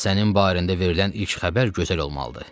Sənin barəndə verilən ilk xəbər gözəl olmalıdır.